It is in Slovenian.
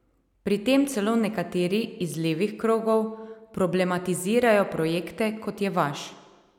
Pri tem celo nekateri iz levih krogov problematizirajo projekte, kot je vaš.